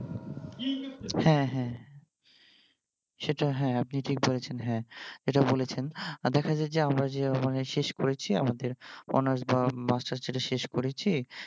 হ্যা হ্যা সেইটা হ্যা আপনি ঠিক বলেছেন হ্যা যেইটা বলেছেন দেখা যায় যে আমরা যে শেষ করেছি আমাদের honours বা Masters যেইটা শেষ করেছি